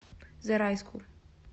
зарайску